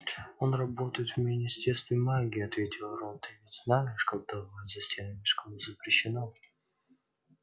он работает в министерстве магии ответил рон ты ведь знаешь колдовать за стенами школы запрещено